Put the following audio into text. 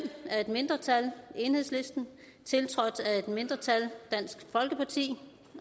af et mindretal tiltrådt af et andet mindretal